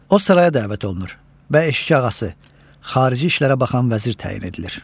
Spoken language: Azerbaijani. O saraya dəvət olunur və eşikağası, xarici işlərə baxan vəzir təyin edilir.